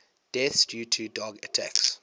deaths due to dog attacks